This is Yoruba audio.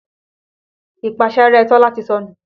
Ìpáṣẹ́rẹ́ Tọ́lá ti sọnù.